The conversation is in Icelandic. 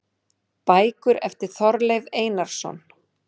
Bækur eftir Þorleif Einarsson